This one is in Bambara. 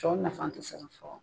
Sɔ nafa te se ke fɔ.